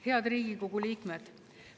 Head Riigikogu liikmed!